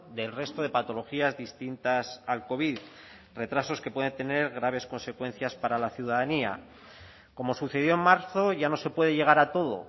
del resto de patologías distintas al covid retrasos que pueden tener graves consecuencias para la ciudadanía como sucedió en marzo ya no se puede llegar a todo